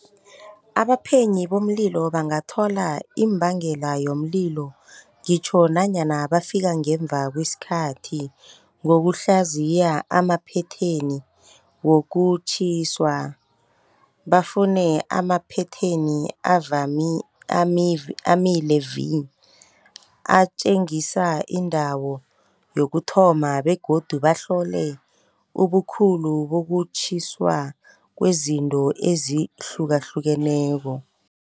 Abaphenyi bomlilo bangathola imbangela yomlilo ngitjho nanyana bafika ngemva kwesikhathi, ngokuhlanziya amaphetheni wokutjhiswa. Bafune amaphetheni avami army levi, atjengisa indawo yokuthoma begodu bahlole ubukhulu bokutjhutjhiswa kwezinto ezihlukahlukeneko.